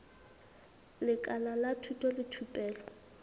lekala la thuto le thupelo